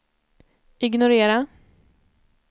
ignorera